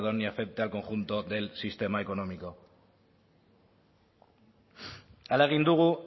y afecte al conjunto del sistema económico ala egin dugu